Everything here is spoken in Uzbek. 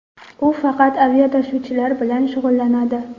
U faqat aviatashuvlar bilan shug‘ullanadi.